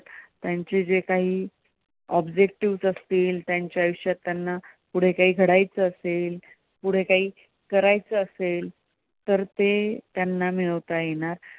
त्यांची जे कांही objectives असतील, त्यांच्या आयुष्यात त्यांना पुढे कांही करायचं असेल पुढे कांही करायचं असेल तर ते त्यांना मिळवता येणार.